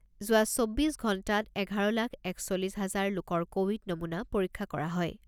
যোৱা চৌব্বিছ ঘণ্টাত এঘাৰ লাখ একচল্লিছ হাজাৰ লোকৰ ক'ভিড নমুনা পৰীক্ষা কৰা হয়।